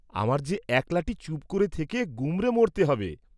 আমার যে একলাটি চুপ করে থেকে গুমরে মর্‌তে হবে।